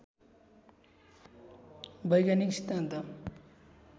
वैज्ञानिक सिद्धान्त